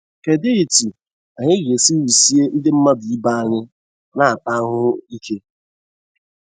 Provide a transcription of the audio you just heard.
Kedụ etú anyị ga esi wusie Ndị mmadu ibe anyị na - ata ahụhụ ike?